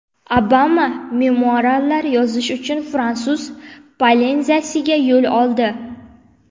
Obama memuarlar yozish uchun Fransuz Polineziyasiga yo‘l oldi.